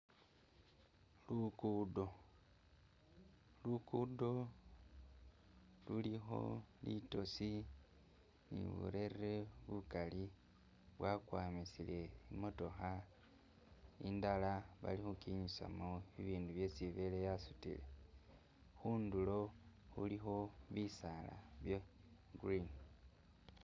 Luggudo luguddo lulikho litosi ni burerere bukali bwakwamisile imotokha indala balikhukinyusamo bibindu byesi ibele yasutile khundulo khulikho bisala bya'green